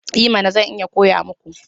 I mana! Zan iya koya muku.